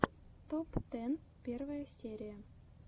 топ тэн первая серия